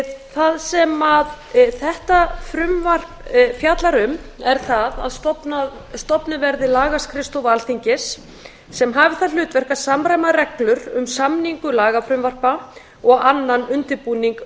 það sem þetta frumvarp fjallar um er það að stofnuð verði lagaskrifstofa alþingis sem hafi það hlutverk að samræma reglur um samningu lagafrumvarpa og annan undirbúning